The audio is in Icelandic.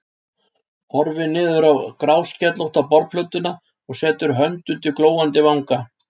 Horfir niður á gráskellótta borðplötuna og setur hönd undir glóandi vanga.